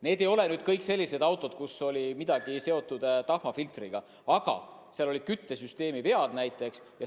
Need ei olnud kõik sellised autod, kus suitsemine oli seotud tahmafiltriga, olid ka küttesüsteemi vead näiteks.